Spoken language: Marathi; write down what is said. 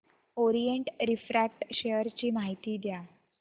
ओरिएंट रिफ्रॅक्ट शेअर ची माहिती द्या